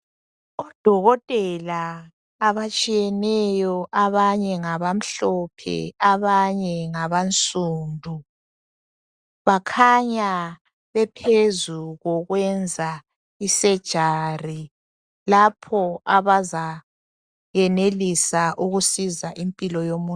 Odokotela abatshiyeneyo abanye ngabamhlophe abanye ngabansundu bakhanya bephezu kokwenza i"surgery" lapho abazayenelisa ukusiza impilo yomuntu.